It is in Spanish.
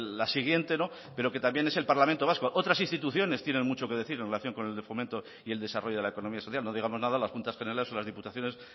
la siguiente pero que también es el parlamento vasco otras instituciones tienen mucho que decir en relación con el fomento y el desarrollo de la economía social no digamos nada las juntas generales o las diputaciones